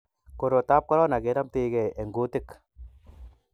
korot tab korona kenamtaigei eng kutik